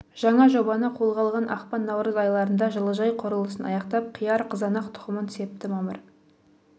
жаңа жобаны қолға алған ақпан наурыз айларында жылыжай құрылысын аяқтап қияр қызанақ тұқымын септі мамыр